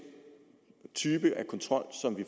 type af kontrol som vi